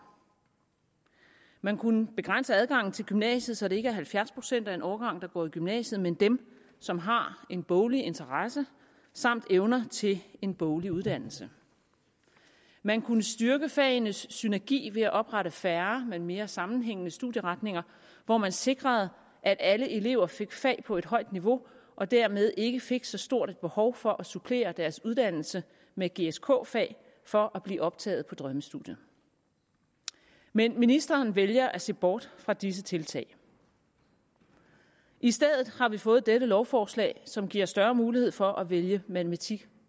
man kunne begrænse adgangen til gymnasiet så det ikke er halvfjerds procent af en årgang der går i gymnasiet men dem som har en boglig interesse samt evner til en boglig uddannelse man kunne styrke fagenes synergi ved at oprette færre men mere sammenhængende studieretninger hvor man sikrede at alle elever fik fag på et højt niveau og dermed ikke fik så stort et behov for at supplere deres uddannelse med gsk fag for at blive optaget på drømmestudiet men ministeren vælger at se bort fra disse tiltag i stedet har vi fået dette lovforslag som giver større mulighed for at vælge matematik